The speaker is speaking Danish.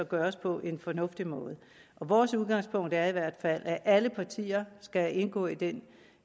gøres på en fornuftig måde vores udgangspunkt er i hvert fald at alle partier skal indgå i den